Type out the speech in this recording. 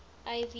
ivy